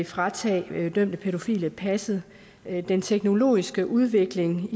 fratage dømte pædofile passet den teknologiske udvikling